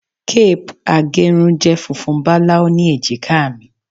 Cape agerun je funfun balau ni ejika mi